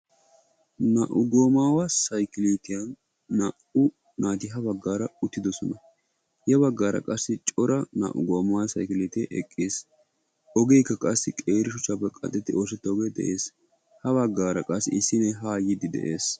Naa"u goomaawa sayikilitiyan naa"u naati ha baggaara uttidosona. Ya baggaara qassi cora naa"u goomaawa sayikiliitee eqqis. Ogeekka qassi qeeri shuchchaappe qanxxetti oosettoogee de'es. Ha baggaara qassi issi na'ay haa yiiddi de'es.